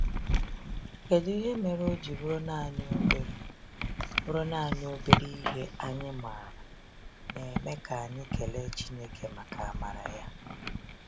kedụ ihe mere oji bụrụ naanị obere bụrụ naanị obere ihe anyị maara na-eme ka anyị kelee Chineke maka amara ya.